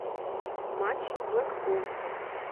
матч блэкпул